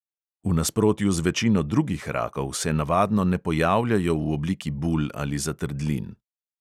V nasprotju z večino drugih rakov se navadno ne pojavljajo v obliki bul ali zatrdlin.